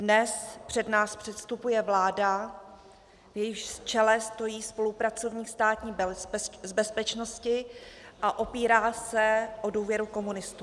Dnes před nás předstupuje vláda, v jejímž čele stojí spolupracovník Státní bezpečnosti, a opírá se o důvěru komunistů.